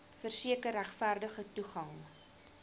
verseker regverdige toegang